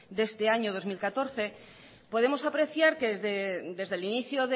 de este año dos mil catorce podemos apreciar que desde el inicio